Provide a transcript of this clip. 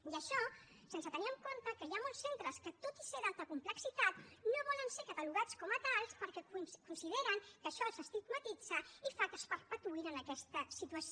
i això sense tenir en compte que hi ha molts centres que tot i ser d’alta complexitat no volen ser catalogats com a tals perquè consideren que això els estigmatitza i fa que es perpetuïn en aquesta situació